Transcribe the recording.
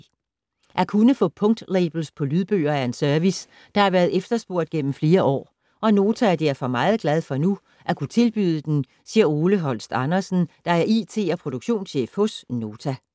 - At kunne få punktlabels på lydbøger er en service, der har været efterspurgt gennem flere år, og Nota er derfor meget glad for nu at kunne tilbyde den, siger Ole Holst Andersen, der er IT- og produktionschef hos Nota.